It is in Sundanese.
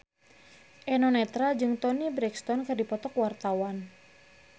Eno Netral jeung Toni Brexton keur dipoto ku wartawan